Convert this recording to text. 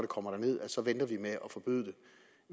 kommer derned så ville